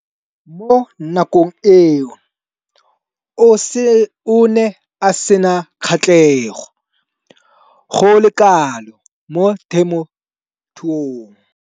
Mo nakong eo o ne a sena kgatlhego go le kalo mo temothuong.